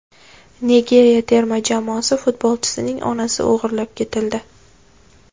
Nigeriya terma jamoasi futbolchisining onasi o‘g‘irlab ketildi.